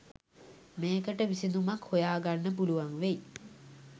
මේකට විසඳුමක් හොයාගන්න පුළුවන් වෙයි